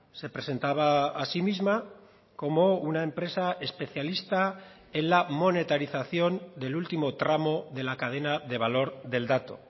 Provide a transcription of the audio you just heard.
se presentaba a sí misma como una empresa especialista en la monetarización del último tramo de la cadena de valor del dato